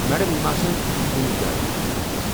Madam, یِم آسَن کُنہِ جایہِ منٛزَس۔